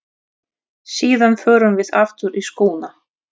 Síðan förum við aftur í skóna.